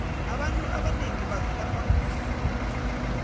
abantu abanengi bavilapha ukufunda